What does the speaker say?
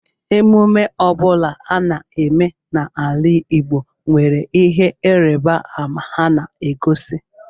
Emume ọ bụla ana eme n'ala Igbo nwere ihe ịrịbama ha na-egosi.